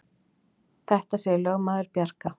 Þetta segir lögmaður Bjarka.